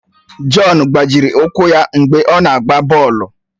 Jọn gbajiri ụkwụ ya mgbe ọ na-agba bọọlụ